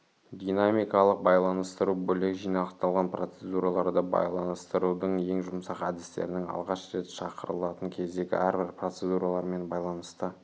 динамикалық байланыстыру бөлек жинақталған процедураларды байланытсырудың ең жұмсақ әдістерін алғаш рет шақырылатын кездегі әрбір процедуралармен байланысты